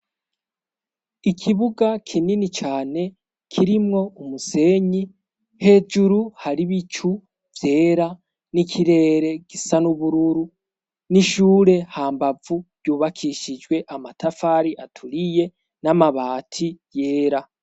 Ikibuga kinini cane kirimwo umusenyi hejuru hari bicu vyera n'ikirere gisa n'ubururu n'ishure hambavu yubakishijwe amatafari aturiye n'amabati yera.